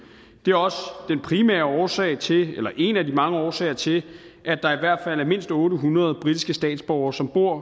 det er også den primære årsag til eller en af de mange årsager til at der i hvert er mindst otte hundrede britiske statsborgere som bor